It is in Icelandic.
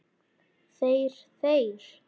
Þeir, þeir!